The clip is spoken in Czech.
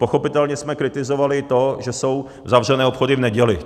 Pochopitelně jsme kritizovali to, že jsou zavřené obchody v neděli.